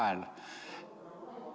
[Sumin saalis.